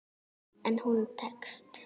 En hún tekst.